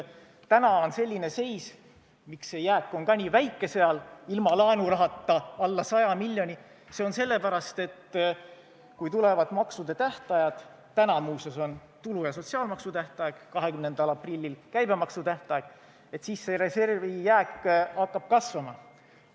Täna on selline seis, miks see jääk on ka nii väike seal – ilma laenurahata alla 100 miljoni –, see on sellepärast nii, et kui tulevad maksude tähtajad – täna on muuseas tulu- ja sotsiaalmaksu tähtaeg, 20. aprillil käibemaksu tähtaeg –, siis hakkab reservi jääk kasvama.